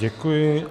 Děkuji.